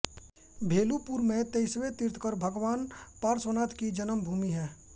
भेलुपुर में तेईसवें तीर्थंकर भगवान पार्श्वनाथ की जन्मभूमि है